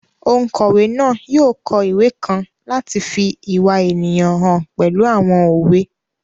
Ònkọ̀wé náà yóò kọ ìwé kan láti fi ìwà ènìyàn hàn pẹ̀lú àwọn òwe